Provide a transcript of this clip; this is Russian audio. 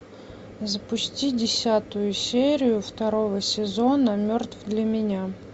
запусти десятую серию второго сезона мертв для меня